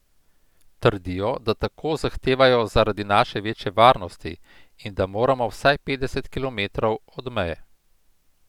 Trdijo, da tako zahtevajo zaradi naše večje varnosti in da moramo vsaj petdeset kilometrov od meje.